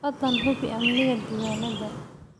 Fadlan hubi amniga diiwaannada.